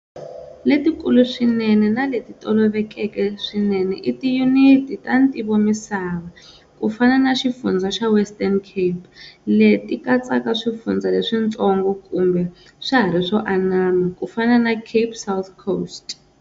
Letikulu swinene na leti tolovelekeke swinene i Tiyuniti ta Ntivomisava, kufana na xifundzha xa Western Cape, leti katsaka Swifundzha leswintsongo, kambe swahari swo anama, kufana na Cape South Coast.